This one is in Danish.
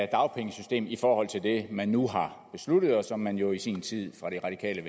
dagpengesystemet i forhold til det man nu har besluttet og som man jo i sin tid fra det radikale